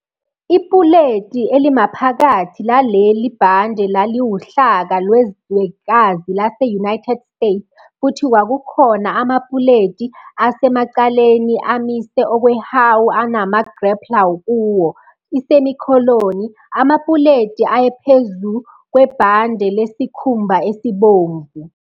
Ipuleti elimaphakathi laleli bhande laliwuhlaka lwezwekazi lase-United States futhi kwakukhona amapuleti asemaceleni amise okwehawu anama-grappler kuwo, amapuleti ayephezu kwebhande lesikhumba elibomvu.